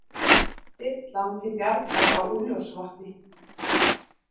Þyrlan til bjargar á Úlfljótsvatni